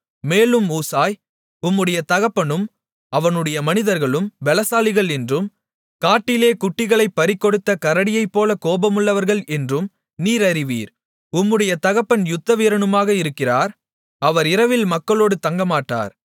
மேலும் ஊசாய் உம்முடைய தகப்பனும் அவனுடைய மனிதர்களும் பெலசாலிகள் என்றும் காட்டிலே குட்டிகளைப் பறிகொடுத்த கரடியைப்போல கோபமுள்ளவர்கள் என்றும் நீர் அறிவீர் உம்முடைய தகப்பன் யுத்தவீரனுமாக இருக்கிறார் அவர் இரவில் மக்களோடு தங்கமாட்டார்